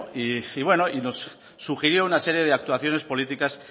y nos sugirió una serie de actuaciones políticas